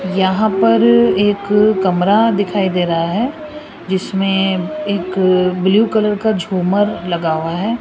यहां पर एक कमरा दिखाई दे रहा है जिसमें एक ब्लू कलर का झूमर लगा हुआ है।